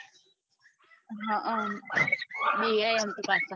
હમ બીહાયે એમ તો પાછા